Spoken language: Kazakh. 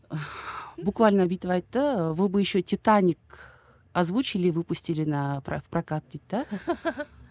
буквально бүйтіп айтты вы бы еще титаник озвучили и выпустили на прокат дейді де